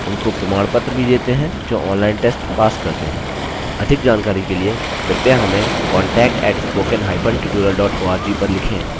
उनको प्रमाणपत्र भी देते हैं जो ऑनलाइन टेस्ट पास करते हैंअधिक जानकारी के लिए कृपया हमें contact@spoken hyphen tutorialorg पर लिखें